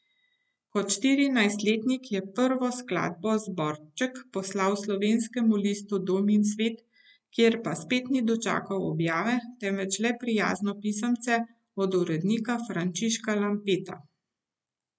Kot štirinajstletnik je prvo skladbo zborček poslal slovenskemu listu Dom in svet, kjer pa spet ni dočakal objave, temveč le prijazno pisemce od urednika Frančiška Lampeta.